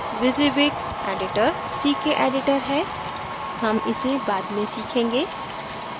wysiwyg editor ck editor है हम इसे बाद में सीखेंगे